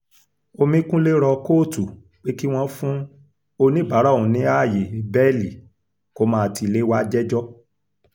omíkunlé rọ kóòtù pé kí wọ́n fún oníbàárà òun ní ààyè bẹ́ẹ̀lì kó máa ti ilé wàá jẹ́jọ́